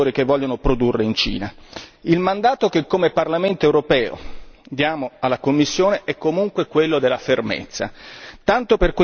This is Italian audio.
Il mandato che come Parlamento europeo diamo alla Commissione è comunque quello della fermezza, tanto per quest'accordo ci vorrà comunque tempo!